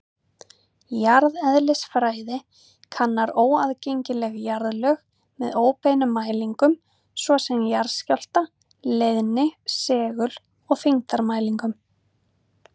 Jarðeðlisfræði kannar óaðgengileg jarðlög með óbeinum mælingum, svo sem jarðskjálfta-, leiðni-, segul- og þyngdarmælingum.